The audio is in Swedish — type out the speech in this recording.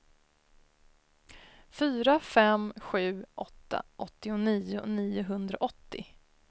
fyra fem sju åtta åttionio niohundraåttio